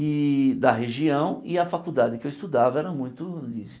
e da região, e a faculdade que eu estudava era muito isso.